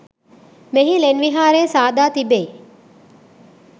මෙහි ලෙන් විහාරය සාදා තිබෙයි.